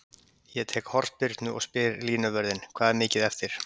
Ég tek hornspyrnu og spyr línuvörðinn: Hvað er mikið eftir?